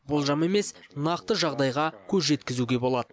болжам емес нақты жағдайға көз жеткізуге болады